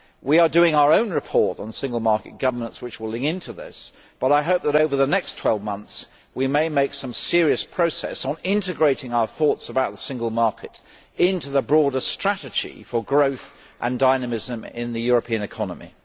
We are doing our own report on single market governance, which will link into this, but I hope that over the next 12 months we may make some serious progress on integrating our thoughts about the single market into the broader strategy for growth and dynamism in the European economy.